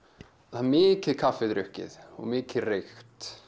það er mikið kaffi drukkið og mikið reykt